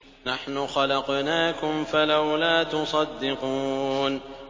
نَحْنُ خَلَقْنَاكُمْ فَلَوْلَا تُصَدِّقُونَ